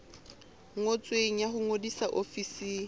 ngotsweng ya ho ngodisa ofising